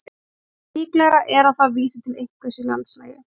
líklegra er að það vísi til einhvers í landslagi